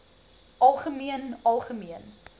algemeen algemeen